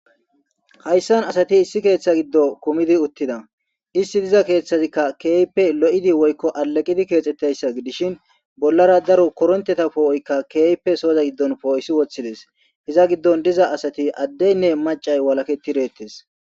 hayssan asati issi keeththa giddo kumidi uttida isti diza keeththazikka keeype lo7idi woykko alaqidi keexxetteyssa dishin bollara daro koronteta poo7oykka keeype sooza giddon poo7isi woththides iza giddon diza asati addeynne macay walaketi reettes